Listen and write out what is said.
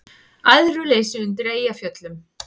Æðruleysi undir Eyjafjöllum